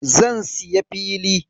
Zan siya fili.